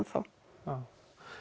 þá já